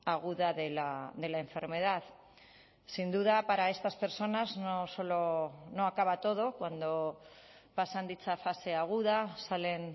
aguda de la enfermedad sin duda para estas personas no solo no acaba todo cuando pasan dicha fase aguda salen